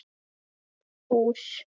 síðast bús.